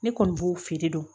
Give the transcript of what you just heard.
Ne kɔni b'o feere dɔn